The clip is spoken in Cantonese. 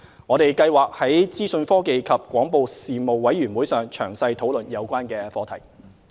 我們計劃在資訊科技及廣播事務委員會上詳細討論有關課題。